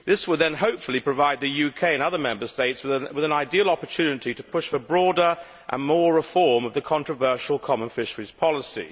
This would then, hopefully, provide the UK and other Member States with an ideal opportunity to push for broader and further reform of the controversial common fisheries policy.